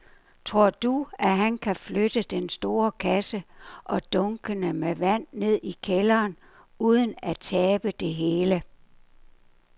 Tror du, at han kan flytte den store kasse og dunkene med vand ned i kælderen uden at tabe det hele?